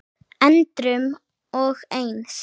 endrum og eins.